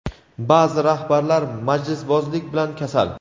Ba’zi rahbarlar majlisbozlik bilan kasal.